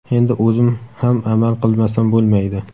Endi o‘zim ham amal qilmasam bo‘lmaydi.